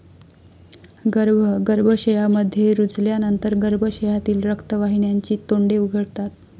गर्भ गर्भाशयामध्ये रुजल्यानंतर गर्भाशयातील रक्तवाहिन्यांची तोंडे उघडतात.